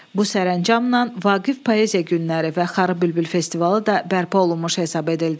Bu sərəncamla Vaqif Poeziya günləri və Xarı bülbül festivalı da bərpa olunmuş hesab edildi.